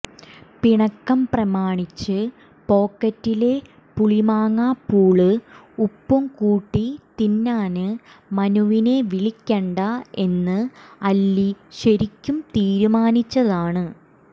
പിണക്കം പ്രമാണിച്ച് പോക്കറ്റിലെ പുളിമാങ്ങാപ്പൂള് ഉപ്പും കൂട്ടി തിന്നാന് മനുവിനെ വിളിക്കണ്ട എന്ന് അല്ലി ശരിയ്ക്കും തീരുമാനിച്ചതാണ്